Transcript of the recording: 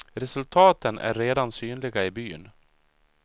Resultaten är redan synliga i byn.